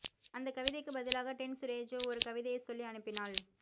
அந்தக் கவிதைக்குப் பதிலாக டென் சுடேஜோ ஒரு கவிதையைச் சொல்லி அனுப்பினாள்